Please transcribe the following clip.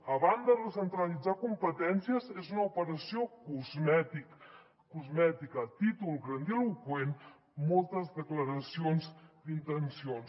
a banda de centralitzar competències és una operació cosmètica títol grandiloqüent moltes declaracions d’intencions